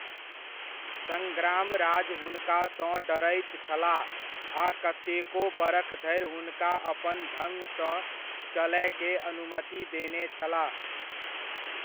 सड़्ग्रामराज हुनका सँ डरैत छलाह आ कतेको बरख धरि हुनका अपन ढ़ङ सऽ चलय के अनुमति देने छलाह।